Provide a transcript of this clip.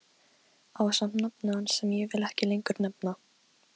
Ásamt nafni hans sem ég vil ekki lengur nefna.